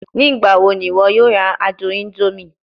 Nigbawo ni iwọ yoo ra adun indomie?